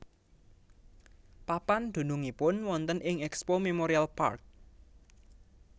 Papan dunungipun wonten ing Expo Memorial Park